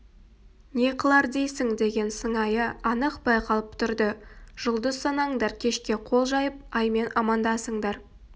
не қылар дейсің деген сыңайы анық байқалып тұрды жұлдыз санаңдар кешке қол жайып аймен амандасыңдар